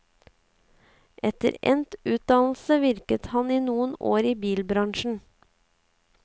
Etter endt utdannelse virket han i noen år i bilbransjen.